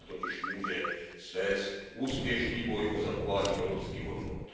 Ona totiž může svést úspěšný boj o zachování evropských hodnot.